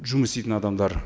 жұмыс істейтін адамдар